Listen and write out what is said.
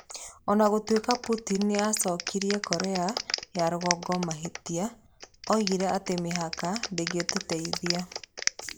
O na gũtuĩka Putin nĩ acokirie Korea ya Rũgongo mahĩtia, oigire atĩ mĩhaka ndĩngĩtũteithia.